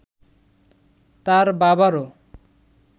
তার বাবারও